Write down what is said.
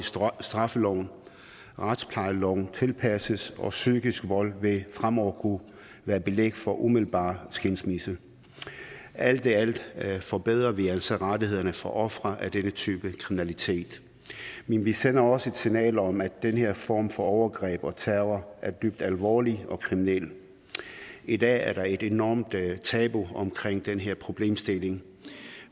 straffeloven og retsplejeloven tilpasses og psykisk vold vil fremover kunne være et belæg for umiddelbar skilsmisse alt i alt forbedrer vi altså rettighederne for offeret af denne type kriminalitet men vi sender også et signal om at den her form for overgreb og terror er dybt alvorlig og kriminel i dag er der et enormt tabu omkring den her problemstilling